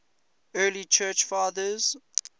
early church fathers